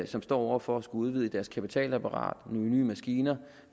som står over for at skulle udvide sit kapitalapparat nogle nye maskiner